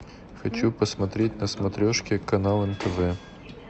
хочу посмотреть на смотрешке канал нтв